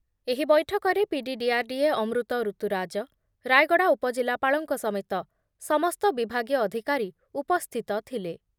ଏହି ବୈଠକରେ PD DRDA Amrit Rituraj, Rayagada ଉପଜିଲ୍ଲାପାଳଙ୍କ ସମେତ ସମସ୍ତ ବିଭାଗୀୟ ଅଧିକାରୀ ଉପସ୍ଥିତ ଥିଲେ ।